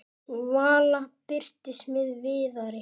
Vala birtist með Viðari.